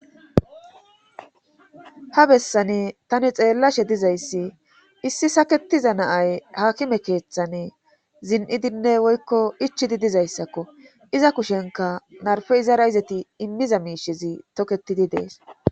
Ha bessani tani xeellashe dizayssi issi saketiza naay hakime keeththane zin7idinne woykko ichidi dizayssakko iza kushenka narfe izara izati immiza miishezi toketidi dees.